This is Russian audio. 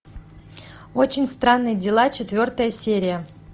очень странные дела четвертая серия